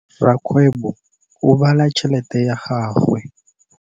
Rakgwêbô o bala tšheletê ya gagwe.